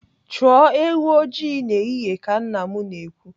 Chụọ ewu ọjị n'ehihie ka nna m na-ekwu.